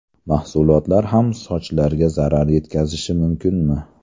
Mahsulotlar ham sochlarga zarar yetkazishi mumkinmi?